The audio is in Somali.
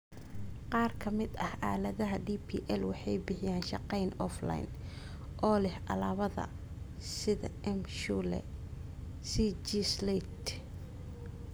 Qaar ka mid ah aaladaha DPL waxay bixiyaan shaqeyn offline, oo leh alaabada sida M-Shule, CG Slate.